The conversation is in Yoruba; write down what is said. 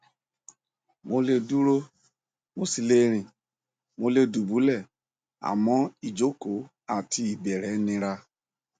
mo lè dúró mo sì le rìn mo lè dùbúlẹ àmọ ìjókòó àti ìbẹrẹ nira